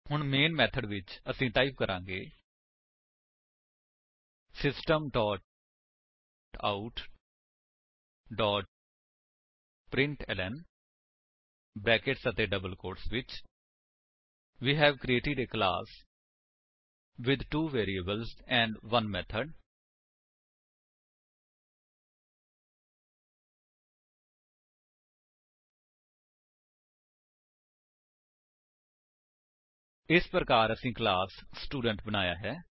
ਹੁਣ main method ਵਿੱਚ ਅਸੀ ਟਾਈਪ ਕਰਾਂਗੇ system dot out dot println brackets ਅਤੇ ਡਬਲ ਕੋਟਸ ਵਿੱਚ we have created a class with two variables and 1 method ਇਸ ਪ੍ਰਕਾਰ ਅਸੀਂ ਕਲਾਸ ਸਟੂਡੈਂਟ ਬਣਾਇਆ ਹੈ